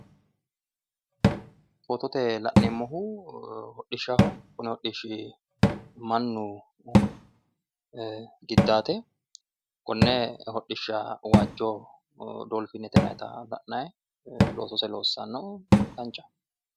Fotote la'neemmohu hodhishshaho kuni hodhishshi mannu giddate konne hodhishsha waajjo dolfiinete yinannita la'nayi loossannohu loosise danchaho.